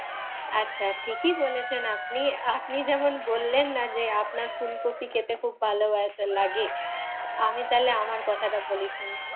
আচ্ছা ঠিকই বলেছেন আপনি। আপনি যেমন বললেন না যে আপনার ফুলকফি খেতে খুব ভালো লাগে, আমি তাহলে আমার কথাটা বলি শুনুন।